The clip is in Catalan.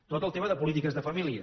tot el tema de polítiques de famílies